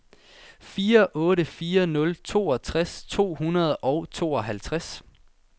fire otte fire nul toogtres to hundrede og tooghalvtreds